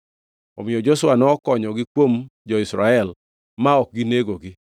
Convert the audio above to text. Omiyo Joshua nokonyogi kuom jo-Israel ma ok ginegogi.